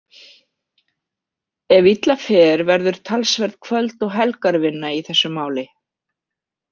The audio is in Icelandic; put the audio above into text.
Ef illa fer verður talsverð kvöld- og helgarvinna í þessu máli.